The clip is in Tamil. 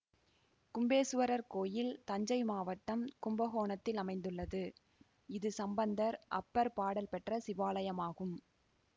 கும்பேசுவரர் கோயில் தஞ்சை மாவட்டம் கும்பகோணத்தில் அமைந்துள்ளது இது சம்பந்தர் அப்பர் பாடல் பெற்ற சிவாலயமாகும்